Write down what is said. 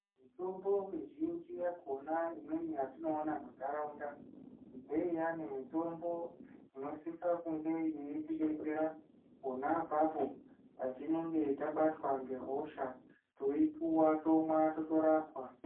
Mitombo mizhinji yakona imweni yatinoona muntaraunda ndeiyani mitombo inosisa kunge yeitidetsera pona apapo patinenge tabatwa ngehosha, toipuwa, tomwa, totorapwa.